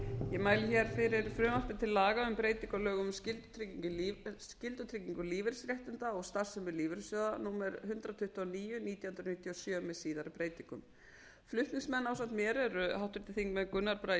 ég mæli hér fyrir frumvarpi til laga um breytingu á lögum um skyldutryggingu lífeyrisréttinda og starfsemi lífeyrissjóða númer hundrað tuttugu og níu nítján hundruð níutíu og sjö með síðari breytingum flutningsmenn ásamt mér eru háttvirtir þingmenn gunnar bragi